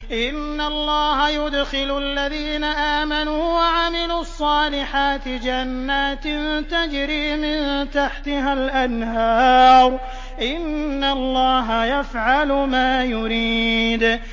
إِنَّ اللَّهَ يُدْخِلُ الَّذِينَ آمَنُوا وَعَمِلُوا الصَّالِحَاتِ جَنَّاتٍ تَجْرِي مِن تَحْتِهَا الْأَنْهَارُ ۚ إِنَّ اللَّهَ يَفْعَلُ مَا يُرِيدُ